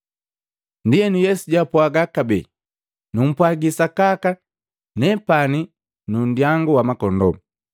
Ndienu Yesu jwapwaga kabee, “Numpwagi sakaka, nepani nundyangu wa makondoo.